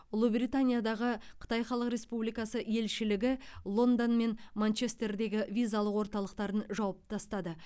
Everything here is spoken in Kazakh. ұлыбританиядағы қытай халық республикасы елшілігі лондон мен манчестердегі визалық орталықтарын жауып тастады